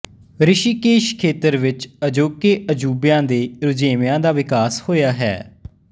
ਰਿਸ਼ੀਕੇਸ਼ ਖੇਤਰ ਵਿਚ ਅਜੋਕੇ ਅਜੂਬਿਆਂ ਦੇ ਰੁਝੇਵਿਆਂ ਦਾ ਵਿਕਾਸ ਹੋਇਆ ਹੈ